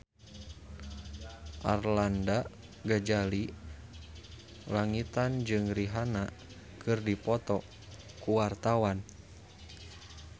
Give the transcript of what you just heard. Arlanda Ghazali Langitan jeung Rihanna keur dipoto ku wartawan